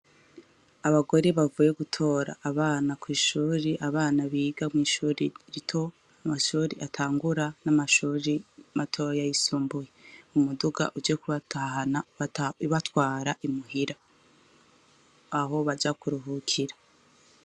Abagore bavuye gutora abana kw'ishure, abana biga mw'ishure rito amashure atangura n'amashure matoyi y'isumbuye, umuduga uje kubatahana ibatwara i muhira aho baja kuruhukira.